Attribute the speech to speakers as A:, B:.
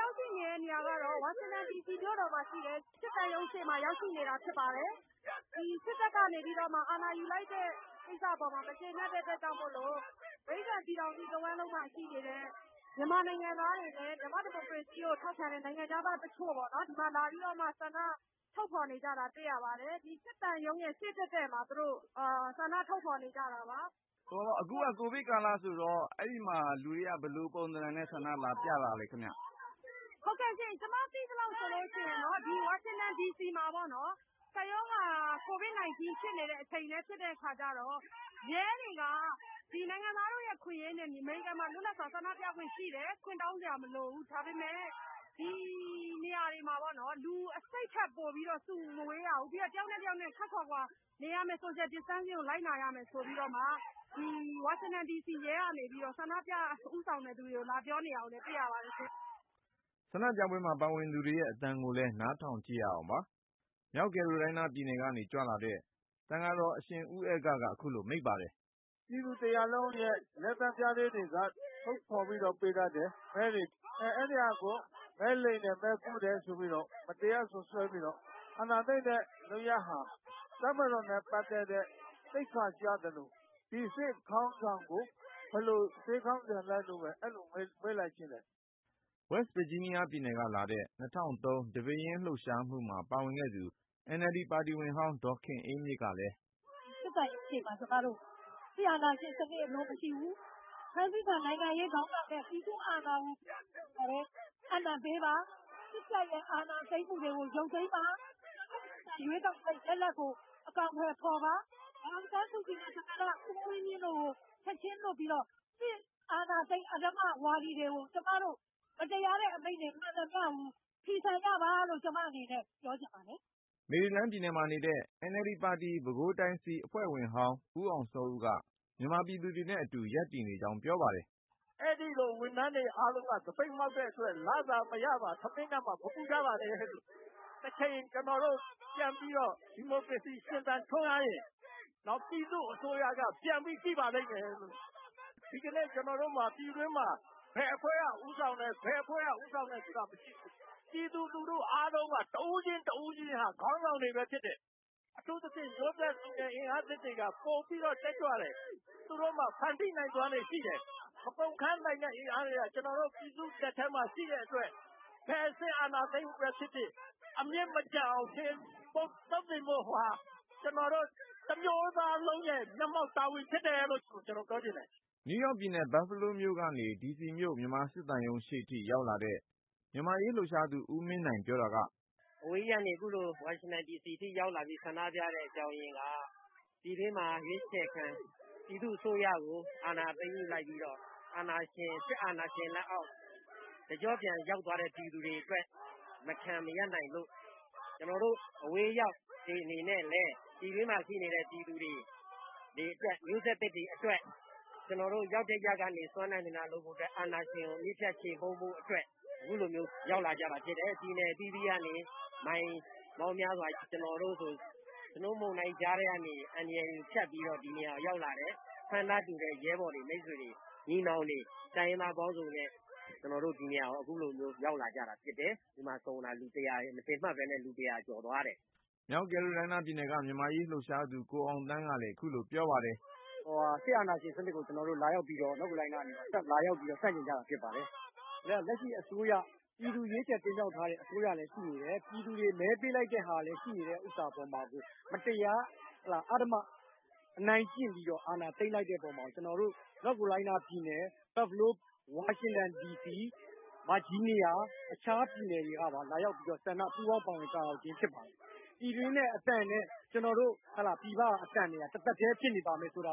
A: ရောက်ရှိနေတဲ့ နေရာကတော့ ဝါရှင်တန်ဒီစီမြို့က မြန်မာစစ်သံရုံးရှေ့ ရောက်နေတာ ဖြစ်ပါတယ်။ စစ်တပ်က အာဏာယူလိုက်တဲ့ ကိစ္စအပေါ်မှာ မကြေနပ်တဲ့ အတွက်ကြောင့်မို့ အမေရိကန် တဝှမ်းလုံးမှာရှိနေတဲ့ မြန်မာနိုင်ငံသားတွေနဲ့ မြန်မာ့ ဒီမိုကရေစီရေးကို ထောက်ခံတဲ့ နိုင်ငံခြားသားတချို့ ဒီမှာလာပြီး ဆန္ဒ ထုတ်ဖေါ်နေကြတာ တွေ့ရပါတယ်။ ဒီ စစ်သံရုံးရဲ့ ရှေ့တည့်တည့်မှာ သူတို့ ဆန္ဒထုတ်ဖေါ် နေကြတာပါ
B: ။ ကိုဉာဏ်ဝင်းအောင် ။ ။ အခုက ကိုဗစ်ကာလဆိုတော့ အဲဒီမှာ လူတွေက ဘယ်လိုပုံစံနဲ့ ဆန္ဒလာပြတာလဲခင်ဗျ။ မဆုမွန်
A: ။ ။ ဟုတ်ကဲ့ရှင့် ၊ ကျမ သိသလောက်ဆိုလို့ရှိရင်တော့ ဒီ ဝါရှင်တန်ဒီစီမှာပေါ့နော်၊ ကိုဗစ်ကပ်ရောဂါ ဖြစ်နေတဲ့အချိန်လည်း ဖြစ်တော့ ရဲတွေက လူတွေကို နိုင်ငံသားတို့ရဲ့အခွင့်အရေးဖြစ်တဲ့ လွတ်လပ်စွာ ဆန္ဒပြခွင့်ရှိတယ် ၊ ခွင့်တောင်းစရာမလိုဘူး ၊ ဒါပေမဲ့ ဒီနေရာမှာ လူ ယောက်ထက် ပို မစုရဘူး ခပ်ခွါခွါ နေရမယ်ဆိုတဲ့ စည်းကမ်းချက်တွေ လိုက်နာရမယ်ဆိုပြီးတော့ ရဲကနေပြီးတော့ ဆန္ဒပြဦးဆောင်တဲ့ သူတွေကို လာပြောနေတာ တွေ့ရပါတယ်ရှင့်
B: ။ ဆန္ဒပြပွဲမှာ ပါဝင်သူတွေရဲ့အသံကိုလည်း နားထောင်ကြည့်ရအောင်ပါ။ မြောက်ကယ်ရိုလိုင်းနားပြည်နယ်ကနေ ကြွလာတဲ့ သံဃာတော် အရှင်ဦးအဂ္ဂက ခုလို မိန့်ပါတယ်
C: ။ “ပြည်သူတရပ်လုံး လက်သန်းမှင်စိုပြီး ထုတ်ဖေါ်ပေးထားတဲ့ မဲတွေကို.. မဲလိမ်တယ် မဲခိုးတယ်ဆိုပြီး မတရားစွပ်စွဲပြီးတော့ စစ်တပ်က အာဏာသိမ်းတဲ့လုပ်ရပ်ဟာ တပ်မတော်အတွက် သိက္ခာကျသလို၊ ဒီလိုလုပ်ဖို့ စစ်ခေါင်းဆောင်တွေ ဘယ်လို စဉ်းစားခဲ့တာလဲလို့ပဲ မေးလိုက်ချင်တယ်
B: ။” West Virginia ပြည်နယ်ကလာတဲ့ ၂၀၀၃ ဒီပဲရင်းလှုပ်ရှားမှုမှာ ပါဝင်ခဲ့သူ NLD ပါတီဝင်ဟောင်း ဒေါ်ခင်အေးမြင့်ကလည်း
A: - “ စစ်သံရုံးရှေ့မှာ စစ်အာဏာရှင်စနစ် အလိုမရှိဘူး ။ ဖမ်းဆီးခံ ခေါင်းဆောင်တွေနဲ့ ပြည်သူ့အာဏာကို ပြန်လည်အပ်နှံပေးပါ။ စစ်တပ် အာဏာသိမ်းထားတာ ပြန်ရုပ်သိမ်းပါ။ အရွေးကောက်ခံ ရလဒ်ကို အကောင်ထည်ဖေါ်ပါ။ ဒေါ်အောင်ဆန်းစုကြည်နဲ့ သမ္မတကြီး ဦးဝင်းမြင့်တို့ကို ချက်ချင်းလွှတ်ပြီးတော့ စစ်အာဏာသိမ်း အဓမ္မဝါဒီတွေကို မတရားတဲ့အမိန့် မှန်သမျှကို ဖီဆန်ကြပါလို့ ကျမတို့ ပြောချင်ပါတယ်။
B: ” မေရီလန်းမှာနေတဲ့ NLD ပါတီ ပဲခူးတိုင်းစည်း အဖွဲ့ဝင်ဟောင်း ဦးအောင်စောဦးက မြန်မာပြည်သူတွေနဲ့အတူ ရပ်တည်နေကြောင်း ပြောပါတယ်။
C: “ မြန်မာနိုင်ငံမှာ ဝန်ထမ်းတွေ သပိတ်မှောက်နေတဲ့အတွက် လစာမရမှာ ထမင်းငတ်မှာကို မပူကြပါနဲ့လို့ ပြောချင်ပါတယ်။ တချိန် ကျနော်တို့ ဒီမိုကရေစီ လက်ဝယ်ပြန်ရောက်ရင် ပြည်သူ့အစိုးရက ပြန်ပြီးကြည့်ပါလိမ့်မယ်လို့ပဲ ပြောလိုပါတယ်။ ဒီကနေ့ ကျနော်တို့ ပြည်တွင်းလှုပ်ရှားမှုဟာ ဘယ်အဖွဲ့က ဦးဆောင်လုပ်နေတာမျိုး မဟုတ်ပဲ ပြည်သူလူထု တဦးချင်းစီက ခေါင်းဆောင်တွေပဲ ဖြစ်တယ်။ အထူးသဖြင့် မျိုးဆက်လူငယ်အင်အားစုတွေက ပိုပြီးတက်ကြွတယ်။ သူတို့မှာ ဖန်တီးနိုင်စွမ်းလည်းရှိတယ်။ မကုန်ခမ်းနိုင်တဲ့ အင်အားတွေ ကျနော်တို့ လက်ထဲမှာ ရှိတဲ့အတွက် ဘယ်စစ်အာဏာသိမ်းမှုပဲ ဖြစ်ဖြစ် အမြစ်မကျန်အောင် ခြေမှုန်းသုတ်သင်ဖို့ဟာ ကျနော်တို့ တမျိုးသားလုံးရဲ့ မျက်မှောက်တာဝန် ဖြစ်တယ်လို့ ကျနော်ပြောချင်ပါတယ်။”
B: နယူးယောက်ပြည်နယ် ဘတ်ဖဲလိုးမြို့ကနေ ဒီစီမြို့ မြန်မာစစ်သံရုံးရှေ့ထိ အရောက်လာတဲ့ မြန်မာ့အရေးလှုပ်ရှားသူ ဦးမင်းနိုင် ပြောတာက -
D: “အဝေးကြီးကနေ ခုလို ဝါရှင်တန်ဒီစီထိရောက်လာပြီး ဆန္ဒပြရတဲ့ အကြောင်းရင်းက ပြည်တွင်းမှာ ရွေးချယ်ခံပြည်သူ့အစိုးရကို အာဏာသိမ်းလိုက်ပြီး စစ်အာဏာရှင်လက်အောက် တကြော့ပြန်ရောက်သွားတဲ့ ပြည်သူတွေအတွက် မခံမရပ်နိုင်လို့ ကျနော်တို့ အဝေးရောက်တွေ အနေနဲ့လည်း ပြည်တွင်းမှာရှိတဲ့ ပြည်သူတွေမျိုးဆက်သစ်တွေအတွက် ကျနော်တို့ ရောက်နေတဲ့ အရပ်ကနေ စွမ်းနိုင်သမျှ အာဏာရှင်ကို အမြစ်ပြတ်ခြေမှုန်းဖို့ ခုလိုဒီကို ရောက်လာကြတာဖြစ်တယ်။ ပြည်နယ်အသီးသီးကနေ မိုင်ပေါင်းများစွာ.. ကျနော်တို့ဆိုရင် နှင်းမုန်တိုင်းကြားကနေ အန္တရာယ်ကိုဖြတ်ကျော်ပြီး ဒီနေရာကို ရောက်လာကြတယ်။ ဆန္ဒတူတဲ့ ရဲဘော်ညီနောင် မိတ်ဆွေ တိုင်းရင်းသားတွေနဲ့ ဒီမှာ မထင်မှတ်ပဲ လူတစ်ရာကျော်သွားတယ်
B: ။” မြောက်ကယ်ရိုလိုင်းနားပြည်နယ်က မြန်မာ့အရေးလှုပ်ရှားသူ ကိုအောင်သန်းကလည်း ခုလို ပြောပါတယ်။
D: “ လက်ရှိမှာ ပြည်သူရွေးချယ် တင်မြှောက်ထားတဲ့ အစိုးရလည်းရှိနေတယ် ၊ ပြည်သူတွေ မဲပေးလိုက်တဲ့ဟာ ရှိနေတာကို မတရား အဓမ္မ အနိုင်ကျင့် အာဏာသိမ်းလိုက်တဲ့အပေါ်မှာ ကျနော်တို့ မြောက်ကယ်ရိုလိုင်းနားပြည်နယ် ၊ ဘတ်ဖဲလိုး ၊ ဝါရှင်တန်ဒီစီ ဗာဂျီးနီးယား အခြားပြည်နယ်တွေကပါ လာရောက်ပူးပေါင်း ဆန္ဒပြနေကြခြင်း ဖြစ်ပါတယ်။ ပြည်တွင်းက ပြည်သူတွေရဲ့အသံနဲ့ ကျနော်တို့ဒီက အသံတွေဟာ တထပ်ထဲဖြစ်နေမယ်ဆိုတာ